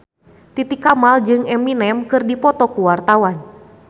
Titi Kamal jeung Eminem keur dipoto ku wartawan